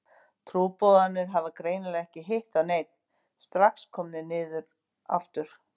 Trúboðarnir hafa greinilega ekki hitt á neinn, strax komnir niður aftur.